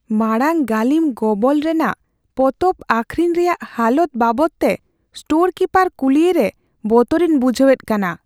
ᱢᱟᱲᱟᱝ ᱜᱟᱹᱞᱤᱢ ᱜᱚᱵᱚᱞ ᱨᱮᱱᱟᱜ ᱯᱚᱛᱚᱵ ᱟᱹᱠᱷᱨᱤᱧ ᱨᱮᱭᱟᱜ ᱦᱟᱞᱚᱛ ᱵᱟᱵᱚᱫᱛᱮ ᱥᱴᱳᱨ ᱠᱤᱯᱟᱨ ᱠᱩᱞᱤᱭᱮ ᱨᱮ ᱵᱚᱛᱚᱨᱤᱧ ᱵᱩᱡᱷᱟᱹᱣᱮᱫ ᱠᱟᱱᱟ ᱾